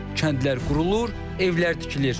Kəndlər qurulur, evlər tikilir.